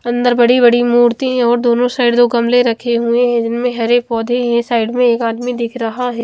अंदर बड़ी बड़ी मूर्ति और दोनों साइड गमले रखे हुए है जिन में हरे पौधे है साइड में एक आदमी दिख रहा है।